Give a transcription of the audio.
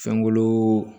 Fɛnkolo